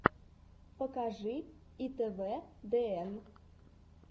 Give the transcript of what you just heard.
покажи итвдн